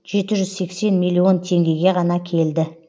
жеті жүз сексен миллион теңгеге ғана келді